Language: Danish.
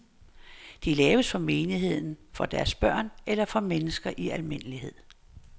De laves for menigheden, for deres børn eller for mennesker i al almindelighed.